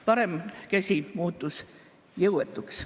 Parem käsi muutus jõuetuks.